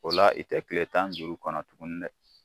O la i tɛ tile tan ni duuru kɔnɔ tuguni dɛ